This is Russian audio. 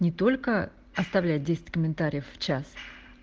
не только оставлять десять комментариев в час